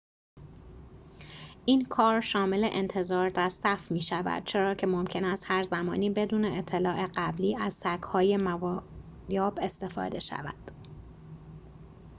این کار شامل انتظار در صف می‌شود چرا که ممکن است هرزمانی بدون اطلاع قبلی از سگ‌های موادیاب استفاده شود